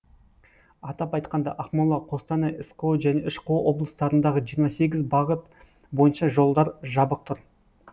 атап айтқанда ақмола қостанай сқо және шқо облыстарындағы жиырма сегіз бағыт бойынша жолдар жабық тұр